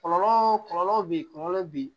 Kɔlɔlɔ kɔlɔlɔ beyi kɔlɔlɔ bɛ ye